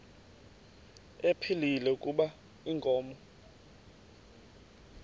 ephilile kuba inkomo